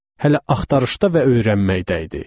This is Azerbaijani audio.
Hələ axtarışda və öyrənməkdə idi.